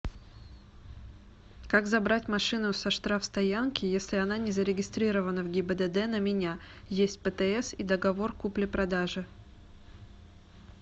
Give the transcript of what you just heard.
как забрать машину со штрафстоянки если она не зарегистрирована в гибдд на меня есть птс и договор купли продажи